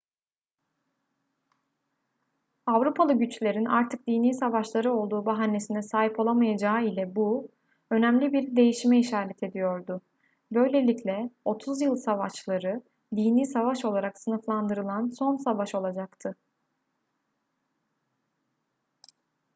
avrupalı güçlerin artık dini savaşları olduğu bahanesine sahip olamayacağı ile bu önemli bir değişime işaret ediyordu böylelikle otuz yıl savaşları dini savaş olarak sınıflandırılan son savaş olacaktı